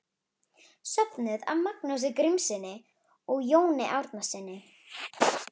Söfnuð af Magnúsi Grímssyni og Jóni Árnasyni.